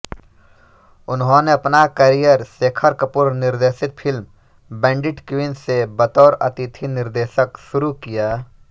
उन्होने अपना कैरियर शेखर कपूर निर्देशित फिल्म बैंडिट क्वीन से बतौर अतिथि निर्देशक शुरू किया